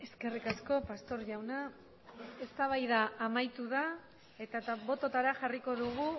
eskerrik asko pastor jauna eztabaida amaitu da eta bototara jarriko dugu